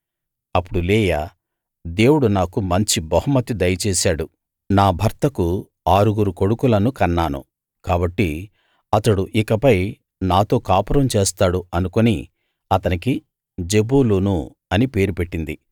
అప్పుడు లేయా దేవుడు నాకు మంచి బహుమతి దయచేశాడు నా భర్తకు ఆరుగురు కొడుకులను కన్నాను కాబట్టి అతడు ఇకపై నాతో కాపురం చేస్తాడు అనుకుని అతనికి జెబూలూను అని పేరు పెట్టింది